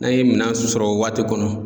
N'an ye minan sɔrɔ o waati kɔnɔ